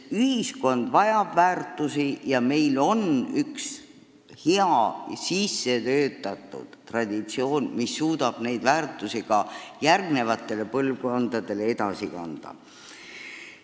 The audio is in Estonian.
Ühiskond vajab väärtusi ja meil on üks hea sissetöötatud traditsioon, mis suudab olulisi väärtusi ka järgmistele põlvkondadele edasi kanda.